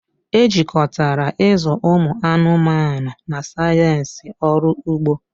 Ejikọtara ịzụ ụmụ anụmanụ na sayensị ọrụ ugbo